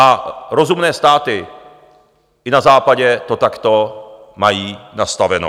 A rozumné státy i na Západě to takto mají nastaveno.